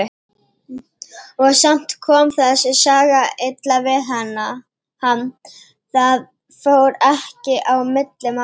Og samt kom þessi saga illa við hann, það fór ekki á milli mála.